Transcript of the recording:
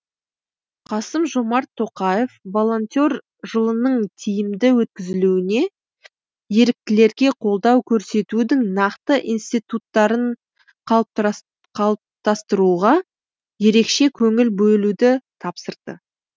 қасым жомарт тоқаев волонтер жылының тиімді өткізілуіне еріктілерге қолдау көрсетудің нақты институттарын қалыптастыруға ерекше көңіл бөлуді тапсырды